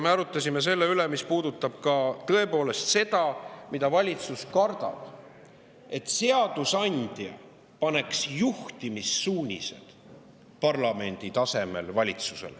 Me arutasime ka selle üle, mida valitsus kardab: et seadusandja valitsusele juhtimissuunised.